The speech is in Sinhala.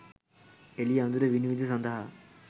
එළිය අඳුර විනිවිද සඳහා